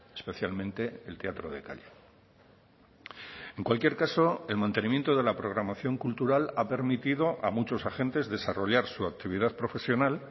especialmente el teatro de calle en cualquier caso el mantenimiento de la programación cultural ha permitido a muchos agentes desarrollar su actividad profesional